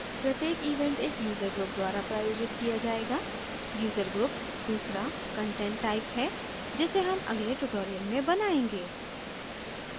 प्रत्येक event एक user group द्वारा प्रायोजित किया जायेगा user group दूसरा content type है जिसे हम अगले tutorial में बनायेंगे